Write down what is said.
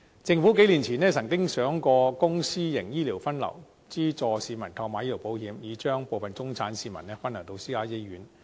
政府數年前曾想過公私營醫療分流，資助市民購買醫療保險，以將部分中產市民分流到私家醫院。